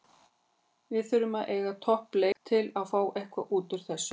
Við þurfum að eiga topp leik til að fá eitthvað útúr þessu.